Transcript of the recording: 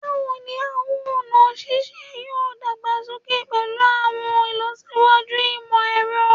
Bawo ni awọn ọna sise yoo dagbasoke pẹlu awọn ilọsiwaju imọ-ẹrọ?